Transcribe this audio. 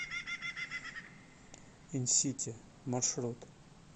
инсити маршрут